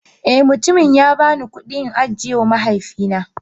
Eh, mutumin ya bani kudi in ajiyewa mahaifina